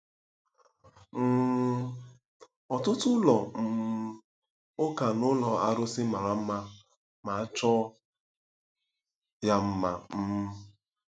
um Ọtụtụ ụlọ um ụka na ụlọ arụsị mara mma ma chọọ ya mma um.